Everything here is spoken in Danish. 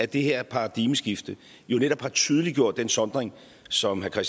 det her paradigmeskift jo netop har tydeliggjort den sondring som herre